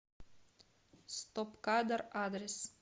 стоп кадр адрес